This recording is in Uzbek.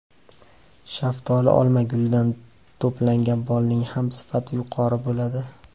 Shaftoli, olma gulidan to‘plangan bolning ham sifati yuqori bo‘ladi.